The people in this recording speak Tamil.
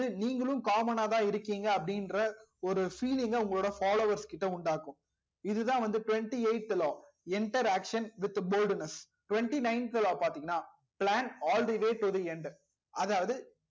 அது நீங்களும் common நாதா இருகிங்க அப்டி இன்ற ஒரு feeling ங்க உங்கலோட followers கிட்ட உண்டாகும் இது தா வந்து twenty eigth law enter action with boldness twenty nineth law பாத்திங்கனா plan all the way to enter அதாவது